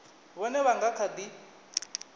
vhone vha nga kha ḓi